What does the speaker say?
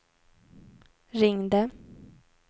ringde